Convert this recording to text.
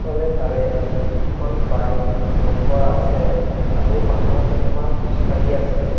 ইফালে তাৰে দুখন বাইক ৰখোৱা আছে আৰু মানুহ কেইটামান খোজকাঢ়ি আছে।